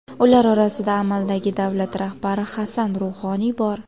Ular orasida amaldagi davlat rahbari Hasan Ruhoniy bor.